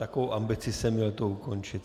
Takovou ambici jsem měl to ukončit!